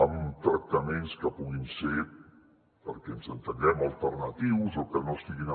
amb tractaments que puguin ser perquè ens entenguem alternatius o que no estiguin